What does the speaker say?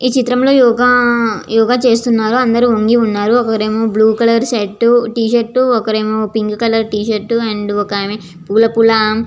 ఈ చిత్రంలో యోగ యోగ చేస్తున్నారో అందరూ వంగి ఉన్నారు. ఒకరేమో బ్లూ కలర్ షర్ట్ టీ-షర్టు ఒకరేమో pink colour -T shirt and పూల పూల --